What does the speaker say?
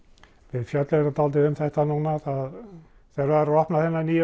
við fjölluðum nú dálítið um þetta núna þegar var opnað á þennan nýja